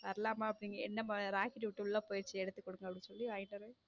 வரலாமா என்னமா rocket விட்டு உள்ள போயிடுச்சு எடுத்து குடுங்க அப்படி சொல்லி வாங்கிட்டு.